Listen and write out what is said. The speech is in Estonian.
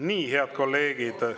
Nii, head kolleegid …